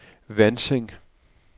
Vanting